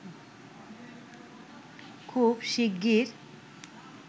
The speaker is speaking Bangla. খুব শিগগির